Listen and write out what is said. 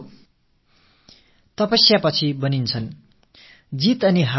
மிகத் தீவிரமான தவத்திற்குப் பிறகே அவர் உருவாகிறார்